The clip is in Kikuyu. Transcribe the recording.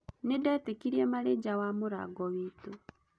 Nĩndetĩkirĩe marĩ nja wa mũrango witũ.